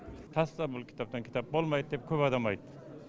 таста бұл кітаптан кітап болмайды деп көп адам айтты